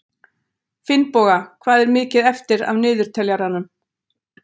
Finnboga, hvað er mikið eftir af niðurteljaranum?